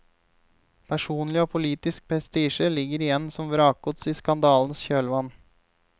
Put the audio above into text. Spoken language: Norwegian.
Personlig og politisk prestisje ligger igjen som vrakgods i skandalens kjølvann.